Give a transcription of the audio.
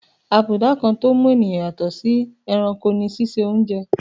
Abùdá kan tó mú ènìyàn yàtọ̀ sí ẹranko ní síse oúnje.